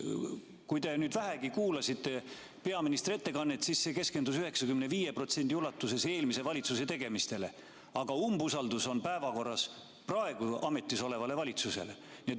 Kui te vähegi kuulasite peaministri ettekannet, siis see keskendus 95% ulatuses eelmise valitsuse tegemistele, aga umbusaldus on suunatud praegu ametis olevale valitsusele.